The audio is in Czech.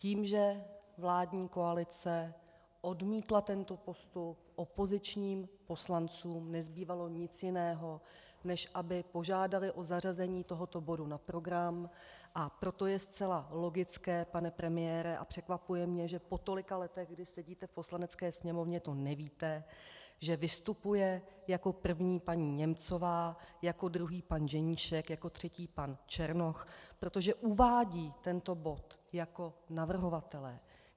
Tím, že vládní koalice odmítla tento postup, opozičním poslancům nezbývalo nic jiného, než aby požádali o zařazení tohoto bodu na program, a proto je zcela logické, pane premiére, a překvapuje mě, že po tolika letech, kdy sedíte v Poslanecké sněmovně, to nevíte, že vystupuje jako první paní Němcová, jako druhý pan Ženíšek, jako třetí pan Černoch, protože uvádějí tento bod jako navrhovatelé.